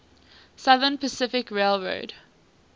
southern pacific railroad